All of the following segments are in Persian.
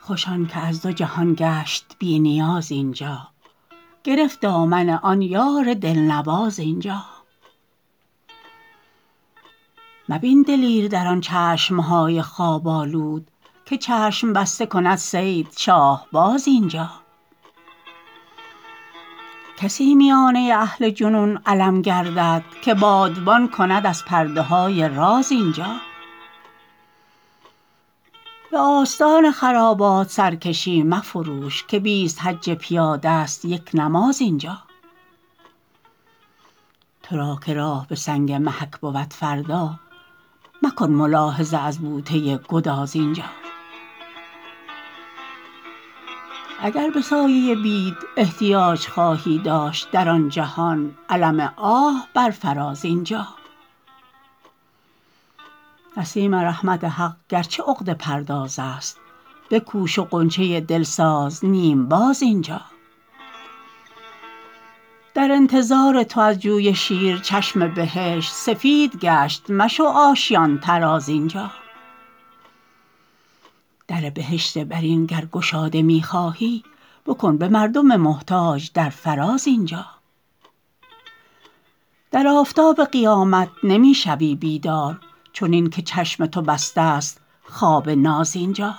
خوش آن که از دو جهان گشت بی نیاز اینجا گرفت دامن آن یار دلنواز اینجا مبین دلیر در آن چشم های خواب آلود که چشم بسته کند صید شاهباز اینجا کسی میانه اهل جنون علم گردد که بادبان کند از پرده های راز اینجا به آستان خرابات سرکشی مفروش که بیست حج پیاده است یک نماز اینجا ترا که راه به سنگ محک بود فردا مکن ملاحظه از بوته گداز اینجا اگر به سایه بید احتیاج خواهی داشت در آن جهان علم آه بر فراز اینجا نسیم رحمت حق گرچه عقده پردازست بکوش و غنچه دل ساز نیم باز اینجا در انتظار تو از جوی شیر چشم بهشت سفید گشت مشو آشیان طراز اینجا در بهشت برین گر گشاده می خواهی مکن به مردم محتاج در فراز اینجا در آفتاب قیامت نمی شوی بیدار چنین که چشم تو بسته است خواب ناز اینجا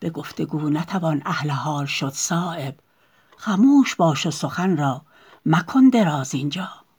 به گفتگو نتوان اهل حال شد صایب خموش باش و سخن را مکن دراز اینجا